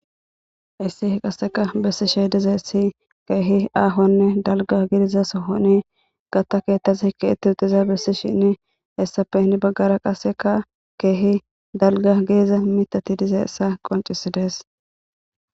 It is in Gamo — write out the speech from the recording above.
Hayissi qase besishsh dizayissi kehi ahonne dalga gidida sooho beettes qaseekka heni bagara kehi dalga gidida miththati duzayissa qoncciside besses